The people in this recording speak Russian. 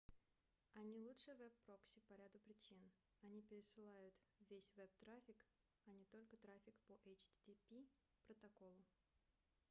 они лучше веб-прокси по ряду причин: они пересылают весь веб-трафик а не только трафик по http-протоколу